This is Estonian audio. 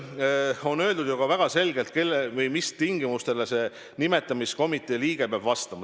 On öeldud ju ka väga selgelt, mis tingimustele see nimetamiskomitee liige peab vastama.